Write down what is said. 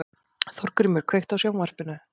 Þórgrímur, kveiktu á sjónvarpinu.